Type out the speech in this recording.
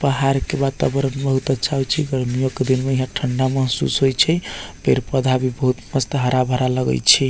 पहाड़ के वातावरण बहुत अच्छा होय छै गर्मियों के दिन में यहां ठंडा महसूस होय छै पेड़-पौधा भी बहुत मस्त हरा-भरा लगय छै।